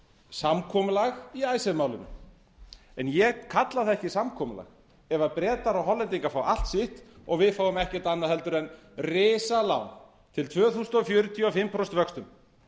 samkomulag í icesave málinu en ég kalla það ekki samkomulag ef bretar og hollendingar fá allt sitt og við fáum ekkert annað en risalán til tvö þúsund fjörutíu á fimm prósent vöxtum